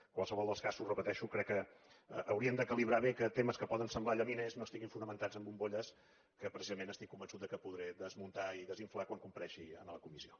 en qualsevol dels casos ho repeteixo crec que hauríem de calibrar bé que temes que poden semblar llaminers no estiguin fonamentats en bombolles que precisament estic convençut que podré desmuntar i desinflar quan comparegui a la comissió